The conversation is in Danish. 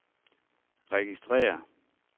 registrér